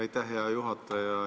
Aitäh, hea juhataja!